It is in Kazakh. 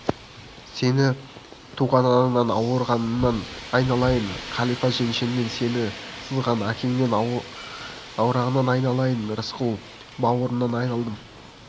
сені туған анаңнан аруағыңнан айналайын қалипа жеңешемнен сені сызған әкеңнен аруағынан айналайын рысқұл бауырымнан айналдым